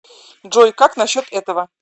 джой как на счет этого